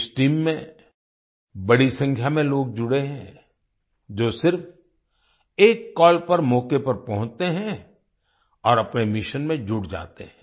इस टीम में बड़ी संख्या में लोग जुड़े हैं जो सिर्फ एक कॉल पर मौके पर पहुंचते हैं और अपने मिशन में जुट जाते हैं